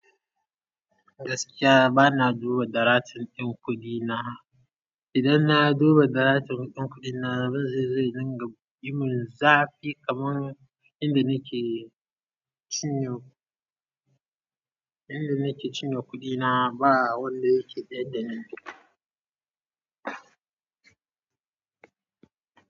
Gaskiya ba na duba daratan ɗan kuɗi na. Idan na duba daratan ɗan kuɗi na, abun zai zo ya dinga yimun zafi kaman yanda nake cinye, yanda nake cinye kuɗi na ba wanda yake tsayar da ni.